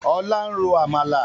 Ọlá ń ro Àmàlà.